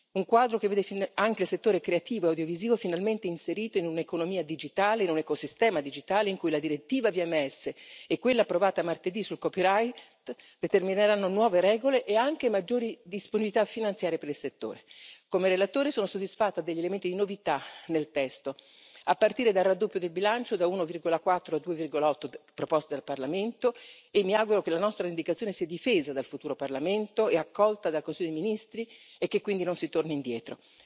Un quadro che vede anche il settore creativo e audiovisivo finalmente inserito in un'economia digitale, in un ecosistema digitale, in cui la direttiva sui servizi di media audiovisivi e quella approvata martedì sul copyright determineranno nuove regole e anche maggiori disponibilità finanziarie per il settore. Come relatore sono soddisfatta degli elementi di novità nel testo, a partire dal raddoppio del bilancio da 1,4 a 2,8 proposto al Parlamento e mi auguro che la nostra indicazione sia difesa dal futuro Parlamento e accolta dal Consiglio dei ministri e che quindi non si torni indietro.